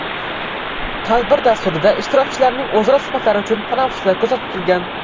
Tadbir dasturida ishtirokchilarning o‘zaro suhbatlari uchun tanaffuslar ko‘zda tutilgan.